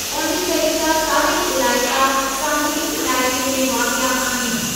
पांडीचेरी जा चारई इलाइक़ा साहिली इलाइक़े में वाक़िआ आहिनि।